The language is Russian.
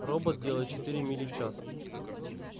робот делает четыре мили в час